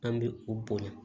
An bɛ u bo